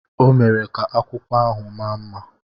ọ mere ka akwụkwọ ahụ maa mma